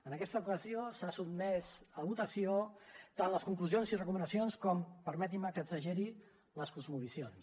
en aquesta ocasió s’han sotmès a votació tant les conclusions i recomanacions com permetin me que exageri les cosmovisions